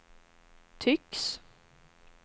tycks